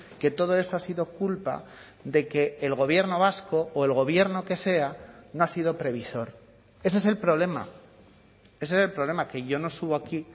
que todo eso ha sido culpa de que el gobierno vasco o el gobierno que sea no ha sido previsor ese es el problema ese es el problema que yo no subo aquí